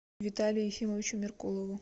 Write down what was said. виталию ефимовичу меркулову